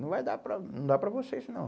Não vai dar para, não dá vocês, não.